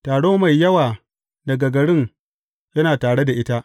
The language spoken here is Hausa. Taro mai yawa daga garin yana tare da ita.